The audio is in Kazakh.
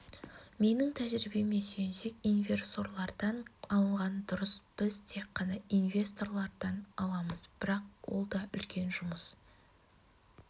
менің тәжірибеме сүйенсек инверсорлардан алған дұрыс біз тек қана инвесторлардан аламыз бірақ ол да үлкен жұмыс